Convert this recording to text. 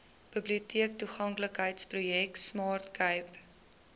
biblioteektoeganklikheidsprojek smart cape